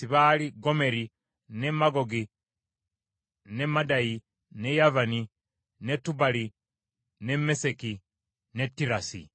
Batabani ba Yafeesi baali: Gomeri, ne Magogi, ne Madayi, ne Yavani, ne Tubali, ne Meseki, ne Tirasi.